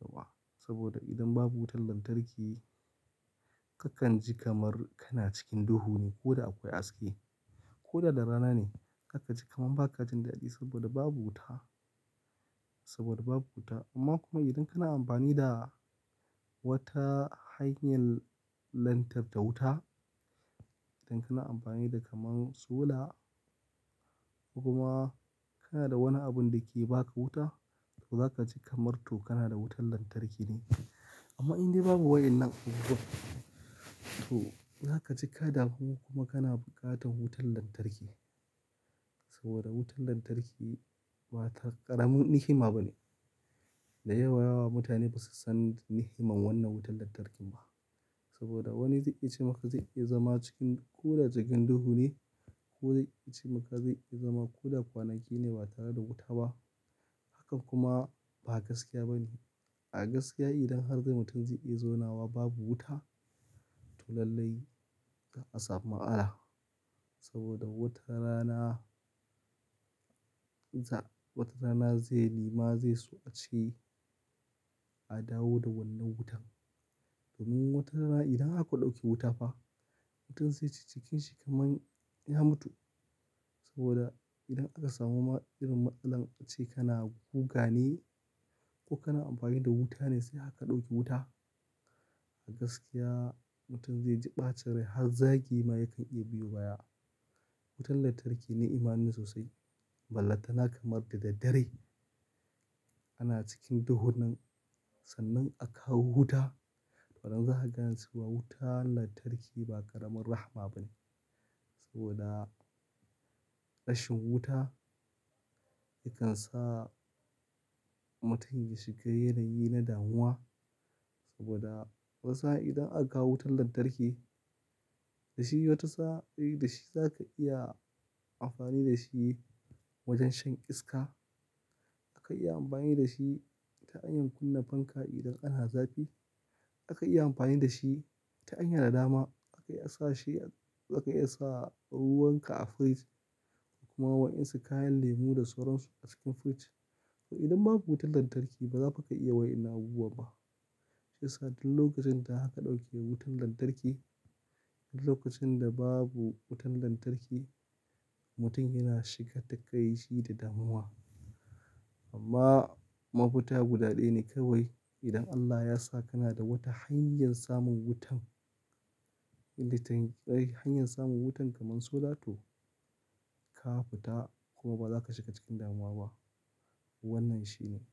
Yauwa. Saboda idan babu wutar lantarki kakan ji kamar kana cikin duhu ne ko da akwai haske, ko da da rana ne kakan ji kamar ba ka jin daɗi saboda babu wuta, saboda babu wuta. Amma kuma idan kana amfani da wata hanyar lantarta wuta, idan kana amfani da kamar solar, kuma kana da wani abun da ke ba ka wuta, to za ka ji kamar to kana da wutar lantarki ne. Amma in dai babu wa'yannan abubuwan, to za ka ji ka damu kuma kana buƙatar wutar lantarki. Saboda wutar lantarki ba ta ƙaramin ni'ima ba ne. Da yawa mutane ba su san ni'iman wannan wutar lantarkin ba. Saboda wani zai iya ce maka zai iya zama cikin ko da cikin duhu ne, ko zai iya ce maka zai iya zama ko da kwanaki ne ba tare da wuta ba. Hakan kuma ba gaskiya ba ne. A gaskiya idan har dai mutum zai iya zaunawa babu wuta, to lallai za a samu matsala saboda wata rana, wata rana zai nema zai so a ce a dawo da wannan wutan. Domin wata rana idan aka ɗauke wuta fa, mutum zai ci jikinsa kamar ya mutu. Saboda idan aka samu ma irin matsalan ace kana guga ne ko kana amfani da wuta ne sai haka ɗauke wuta, a gaskiya mutum zai ji ɓacin rai har zagi ma yakan iya biyo baya. Wutan lantarki ni'imane sosai. Ballan tana kamar da daddare ana cikin duhunnan sannan a kawo wuta. To anan zaka gane cewa wuta lantarki ba ƙaramin rahma ba ne. Saboda rashin wuta yakan sa mutum ya shiga yanayi na damuwa. Saboda wasu har idan aka kawo wutan lantarki, da shi wata sa'a dai da shi za ka iya amfani da shi wajen shan iska. A kan iya amfani da shi ta hanyar kunna fanka idan ana zafi. A kan iya amfani da shi ta hanya da dama. A kan iya sa shi, a kan iya sa ruwan ka a firij kuma wa'yansu kayan lemu da suran su a cikin firij. To idan babu wutar lantarki ba za fa ka iya wa'yan nan abubuwa ba. Shi sa don lokacin da aka ɗauke wutan lantarki, lokacin da babu wutan lantarki, mutum yana shiga takaici da damuwa. Amma ma futa guda ɗaya ne kawai. Idan Allah ya sa kana da wata hanyar samun wutan, inda takai hanyar samun wutan kamar sola to ka fita kuma ba za ka shiga cikin damuwa ba. Wannan shi ne.